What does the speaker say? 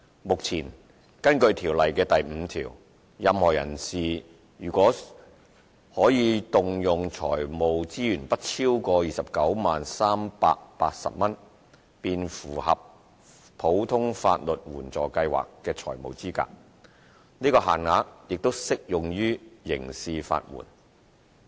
目前，根據《條例》第5條，任何人士若其可動用財務資源不超過 290,380 元，便符合普通法律援助計劃的財務資格，此限額亦適用於刑事法援。